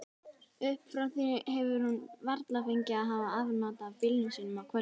Upp frá því hefur hún varla fengið að hafa afnot af bílnum sínum á kvöldin.